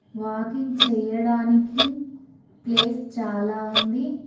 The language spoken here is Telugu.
వాకింగ్ చేయడానికి ప్లేస్ చాలా ఉంది.